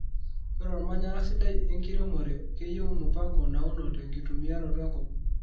Ore ormanyara sidai enkiremore keyieu mupango nauno tenkitumiaroto enkop.